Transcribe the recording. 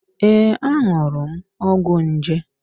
Ee, añụrụ m ọgwọ nje.